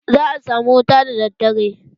Za a samu wuta da daddare.